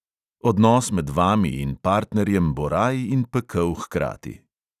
Odnos med vami in partnerjem bo raj in pekel hkrati.